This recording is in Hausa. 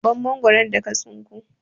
Ban Mangwaron da ka tsinko!